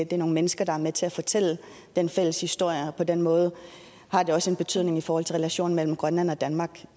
det er nogle mennesker der er med til at fortælle den fælles historie og på den måde har det også en betydning for relationen mellem grønland og danmark